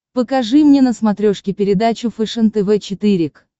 покажи мне на смотрешке передачу фэшен тв четыре к